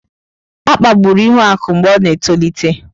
A kpagburu Ihuaku mgbe ọ na-etolite.